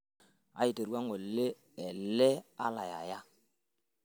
aterua ngole elee alai aya